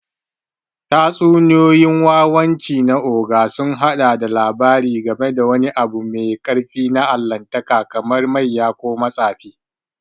Tatsuniyoyin wawanci na Ogre sun haɗa da labari game da wani abu mai ƙarfi na Allahntaka kamar mayya ko matsafi.